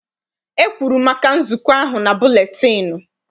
E kwuru maka nzukọ ahụ na buletịịnụ.